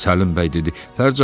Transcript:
Səlim bəy dedi: